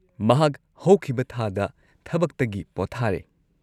ꯃꯍꯥꯛ ꯍꯧꯈꯤꯕ ꯊꯥꯗ ꯊꯕꯛꯇꯒꯤ ꯄꯣꯊꯥꯔꯦ꯫